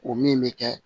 O min bɛ kɛ